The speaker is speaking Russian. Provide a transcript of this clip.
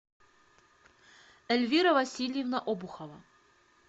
эльвира васильевна обухова